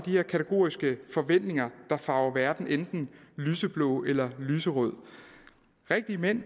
de her kategoriske forventninger der farver verden enten lyseblå eller lyserød rigtige mænd